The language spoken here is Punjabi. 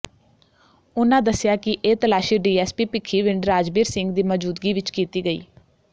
ਉਨ੍ਹਾਂ ਦੱਸਿਆ ਕਿ ਇਹ ਤਲਾਸ਼ੀ ਡੀਐੱਸਪੀ ਭਿੱਖੀਵਿੰਡ ਰਾਜਬੀਰ ਸਿੰਘ ਦੀ ਮੌਜੂਦਗੀ ਵਿਚ ਕੀਤੀ ਗਈ